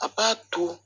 A b'a to